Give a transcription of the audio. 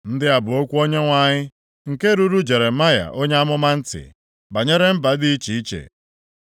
Ndị a bụ okwu Onyenwe anyị, nke ruru Jeremaya onye amụma ntị, banyere mba dị iche iche.